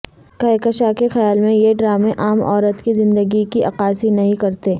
کہکشاں کے خیال میں یہ ڈرامے عام عورت کی زندگی کی عکاسی نہیں کرتے